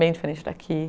Bem diferente daqui.